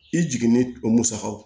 I jiginnen o musakaw